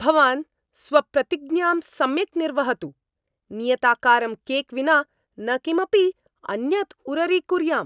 भवान् स्वप्रतिज्ञां सम्यक् निर्वहतु। नियताकारं केक् विना न किमपि अन्यद् उररीकुर्याम्।